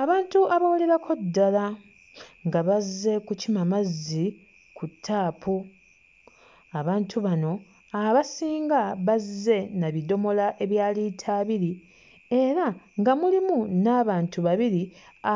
Abantu abawererako ddala nga bazze kukima mazzi ku ttaapu, abantu bano abasinga bazze na bidomola ebya liita abiri era nga mulimu n'abantu babiri